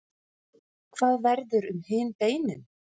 hvað verður um hin beinin